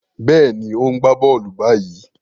Béèni, o n gbà bóòlù ni báyìí.